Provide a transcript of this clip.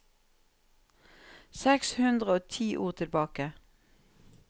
Seks hundre og ti ord tilbake